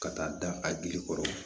Ka taa da a dili kɔrɔ